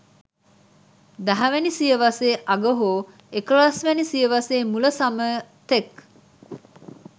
දහවැනි සියවසේ අග හෝ එකොළොස්වැනි සියවසේ මුල සමය තෙක්